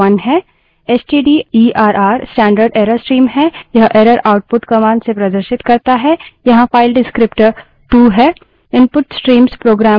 stderr stderr standard error stream है यह error output commands से प्रदर्शित करता है यहाँ file descriptor विवरणक टू 2 है